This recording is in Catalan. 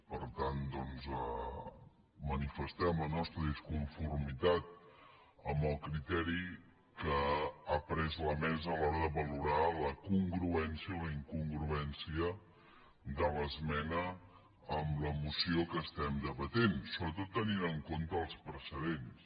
per tant doncs manifestem la nostra disconformitat amb el criteri que ha pres la mesa a l’hora de valorar la congruència o la incongruència de l’esmena amb la moció que debatem sobretot tenint en compte els precedents